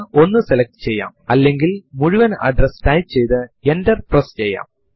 ഇപ്പോഴത്തെ മാസത്തിന്റെ കലണ്ടർ കാണാൻ പ്രോംപ്റ്റ് ൽ കാൽ എന്ന് ടൈപ്പ് ചെയ്തു എന്റർ അമർത്തുക